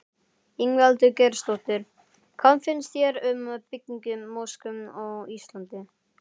Ingveldur Geirsdóttir: Hvað finnst þér um byggingu mosku á Íslandi?